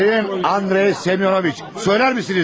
Sayın Andrey Semyonoviç, söylərmisiniz?